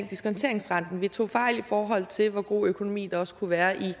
diskonteringsrenten vi tog fejl i forhold til hvor god økonomi der også skulle være i